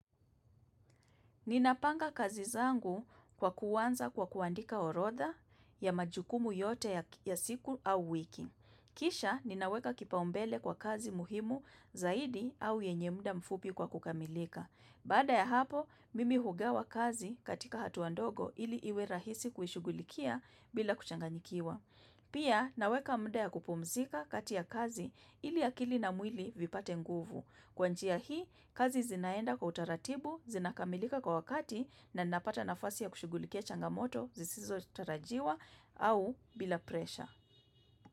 Ninapanga kazi zangu kwa kuanza kwa kuandika orotha ya majukumu yote ya siku au wiki. Kisha, ninaweka kipaumbele kwa kazi muhimu zaidi au enye muda mfupi kwa kukamilika. Baada ya hapo, mimi hugawa kazi katika hatua ndogo ili iwe rahisi kuishughulikia bila kuchanganyikiwa. Pia, naweka muda ya kupumzika kati kazi ili akili na mwili vipate nguvu. Kwa njia hii, kazi zinaenda kwa utaratibu, zinakamilika kwa wakati na ninapata nafasi ya kushughulikia changamoto zisizotarajiwa au bila pressure.